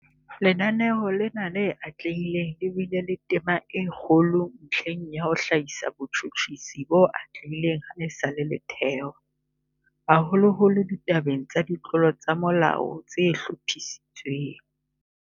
Lenaneo lena le atlehileng le bile le tema e kgolo ntlheng ya ho hlahisa botjhutjhisi bo atlehileng ha esale le thewa, haholoholo ditabeng tsa ditlolo tsa molao tse hlophisitsweng.